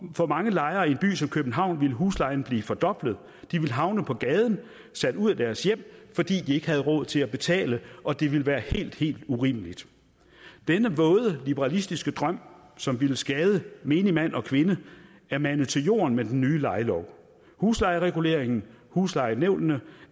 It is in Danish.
for mange lejere i en by som københavn ville huslejen blive fordoblet de ville havne på gaden sat ud af deres hjem fordi de ikke havde råd til at betale og det ville være helt helt urimeligt denne våde liberalistiske drøm som ville skade menigmand og kvinde er manet til jorden med den nye lejelov huslejereguleringen og huslejenævnene